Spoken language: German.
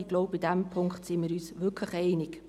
Ich glaube, da sind wir uns wirklich einig.